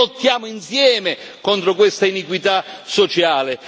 Lottiamo insieme contro questa iniquità sociale!